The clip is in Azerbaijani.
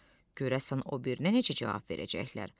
Görəsən o birinə necə cavab verəcəklər?